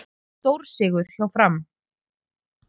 Stórsigur hjá Fram